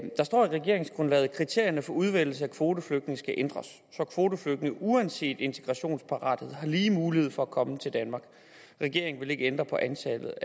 der står i regeringsgrundlaget kriterierne for udvælgelse af kvoteflygtninge skal ændres så kvoteflygtninge uanset integrationsparathed har lige mulighed for at komme til danmark regeringen vil ikke ændre antallet